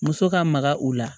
Muso ka maga u la